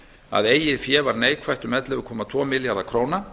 að eigið fé var neikvætt um ellefu komma tvo milljarða króna